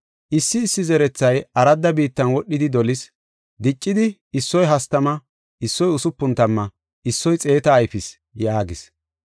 Issi issi zerethay aradda biittan wodhidi dolis. Diccidi issoy hastama, issoy usupun tamma issoy xeeta ayfis” yaagis.